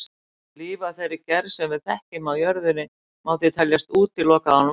Líf af þeirri gerð sem við þekkjum á jörðinni má því teljast útilokað án vatns.